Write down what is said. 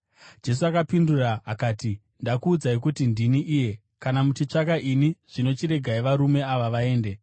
Jesu akapindura akati, “Ndakuudzai kuti ndini iye. Kana muchitsvaka ini, zvino chiregai varume ava vaende.”